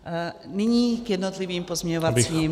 Nyní k jednotlivým pozměňovacím návrhům.